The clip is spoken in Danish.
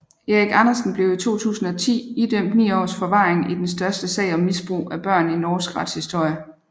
Erik Andersen blev i 2010 idømt 9 års forvaring i den største sag om misbrug af børn i norsk retshistorie